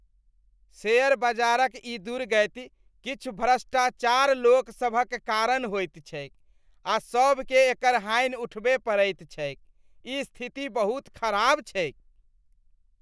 Share बजारक ई दुर्गति किछु भ्रष्टाचार लोकसभक कारण होइत छैक आ सभकेँ एकर हानि उठबए पड़ैत छैक, ई स्थिति बहुत खराब छैक ।